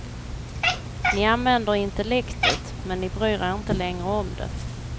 Ni använder intellektet, men ni bryr er inte längre om det.